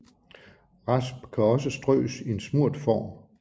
Rasp kan også strøs i en smurt form